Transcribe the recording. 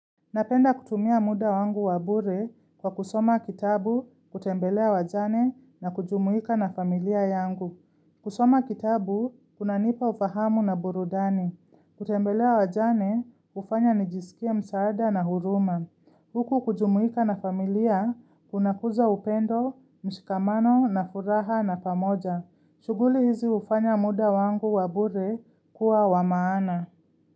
Napenda kutumia muda wangu wa bure kwa kusoma kitabu, kutembelea wajane na kujumuika na familia yangu. Kusoma kitabu, kunanipa ufahamu na burudani. Kutembelea wajane, hufanya nijisikie msaada na huruma. Huku kujumuika na familia, kuna kuza upendo, mshikamano na furaha na pamoja. Shuguli hizi hufanya muda wangu wa bure kuwa wa maana.